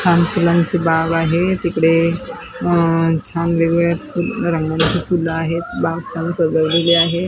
छान फुलांची बाग आहे तिकडे अह छान वेगळे फुल रंगांची फुलं आहेत बाग छान सजवलेली आहे.